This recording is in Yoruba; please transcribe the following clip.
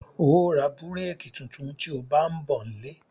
Óò ra búrékì tuntun tí ó bá ń bọ̀ nílé